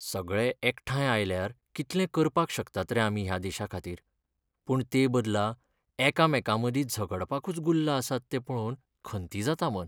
सगळे एकठांय आयल्यार कितलें करपाक शकतात रे आमी ह्या देशाखातीर. पूण तेबदला एकामेकांमदीं झगडपाकूच गुल्ल आसात तें पळोवन खंती जाता मन.